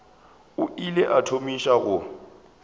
o ile a thomiša go